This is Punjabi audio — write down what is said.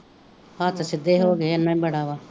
ਹੱਥ ਸਿਧੇ ਹੋ ਗਏ ਏਨਾ ਈ ਬੜਾ ਵਾ